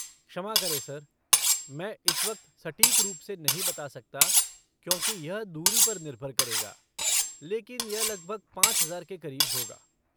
क्षमा करें सर, मैं इस वक्त सटीक रूप से नहीं बता सकता क्योंकि यह दूरी पर निर्भर करेगा, लेकिन यह लगभग पाँच हजार के करीब होगा।